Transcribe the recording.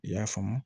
I y'a faamu